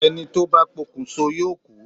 Ẹni tó bá pokùnso yóò kú.